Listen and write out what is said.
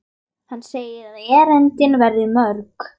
Hann segir að erindin verði mörg.